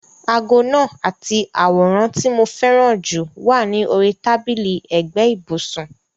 Aago náà àti àwòrán tí mo fẹ́ràn jù wà ní orí tábìlì ẹ̀gbẹ́ ibùsùn.